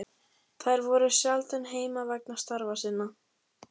Þau voru sjaldan heima vegna starfa sinna.